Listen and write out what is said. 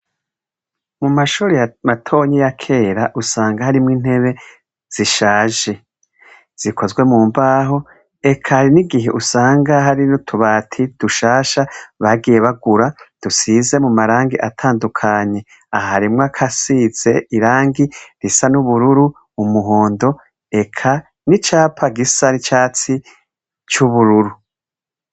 Mu mashuri matonyi ya kera usanga harimwo intebe zishaje zikozwe mu mbaho eka hari n'igihe usanga hari n'utubati dushasha bagiye bagura dusize mu marangi atandukanye, aha harimwo akasize irangi risa n'ubururu, umuhondo, eka n'icapa gisa n'icatsi c'ubururu.